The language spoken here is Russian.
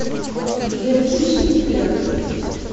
билет фиш энд бир